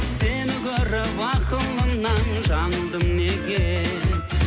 сені көріп ақылымнан жаңылдым неге